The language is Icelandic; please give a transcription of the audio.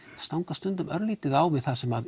stangast stundum örlítið á við það sem